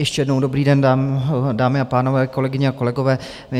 Ještě jednou dobrý den, dámy a pánové, kolegyně a kolegové.